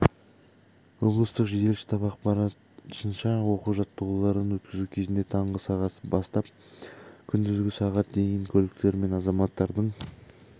облыстық жедел штаб ақпарынша оқу-жаттығуларын өткізу кезінде таңғы сағат бастап күндізгі сағат дейін көліктер мен азаматтардың